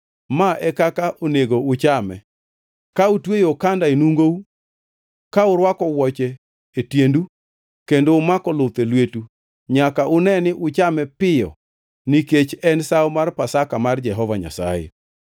Ma e kaka onego uchame: Ka utweyo okanda enungou, ka urwako wuoche e tiendu kendo umako luth e lwetu; nyaka une ni uchame piyo nikech en sawo mar Pasaka mar Jehova Nyasaye.